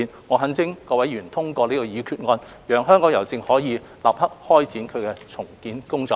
我懇請各位議員通過這項決議案，讓香港郵政可以立刻開展其重建工作。